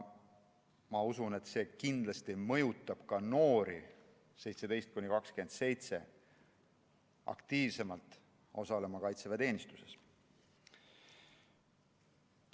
Ma usun, et see kindlasti mõjutab ka noori, 17–27‑aastaseid, aktiivsemalt osalema kaitseväeteenistuses.